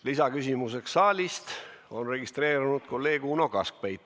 Lisaküsimuseks saalist on registreerunud kolleeg Uno Kaskpeit.